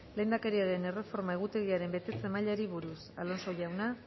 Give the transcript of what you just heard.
lehendakariaren erreforma egutegiaren betetze mailari buruz alonso jauna